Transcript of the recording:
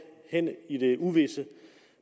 hen i det uvisse